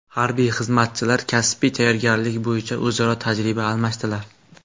Harbiy xizmatchilar kasbiy tayyorgarliklar bo‘yicha o‘zaro tajriba almashdilar.